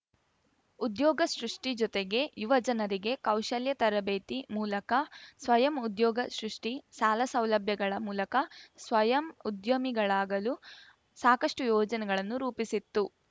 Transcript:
ಉದ್ಯೋಗ ಸೃಷ್ಟಿಜೊತೆಗೆ ಯುವಜನರಿಗೆ ಕೌಶಲ್ಯತರಬೇತಿ ಮೂಲಕ ಸ್ವಯಂ ಉದ್ಯೋಗ ಸೃಷ್ಟಿ ಸಾಲ ಸೌಲಭ್ಯಗಳ ಮೂಲಕ ಸ್ವಯಂ ಉದ್ಯಮಿಗಳಾಗಲು ಸಾಕಷ್ಟುಯೋಜನೆಗಳನ್ನು ರೂಪಿಸಿತ್ತು